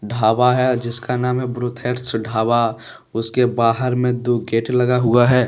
ढाबा है जिसका नाम है ब्रोथट्स ढाबा उसके बाहर में दो गेट लगा हुआ है।